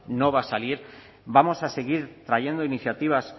no va a salir vamos a seguir trayendo iniciativas